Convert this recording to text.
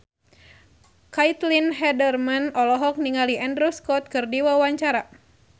Caitlin Halderman olohok ningali Andrew Scott keur diwawancara